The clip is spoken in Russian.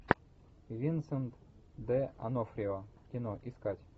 винсент д онофрио кино искать